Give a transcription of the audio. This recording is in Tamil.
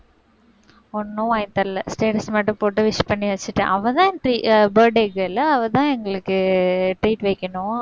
ஒண்ணும் வாங்கித் தரல status மட்டும் போட்டு wish பண்ணி வச்சுட்டேன். அவ தான் tr~ birthday girl அவ தான் எங்களுக்கு treat வைக்கணும்